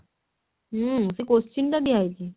ହୁଁ ସେଇ question ଟା ଦିଆ ହେଇଛି